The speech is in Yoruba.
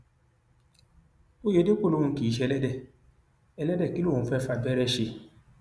òyedèpọ lòun kì í ṣe ẹlẹdẹ ẹlẹdẹ kí lòun fẹẹ fàbẹrẹ ṣe